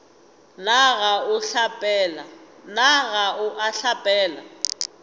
na ga o a hlapela